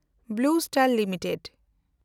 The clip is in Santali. blue Stand limited